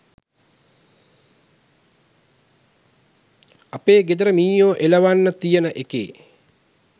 අපේ ගෙදර මීයෝ එලවන්න තියන එකේ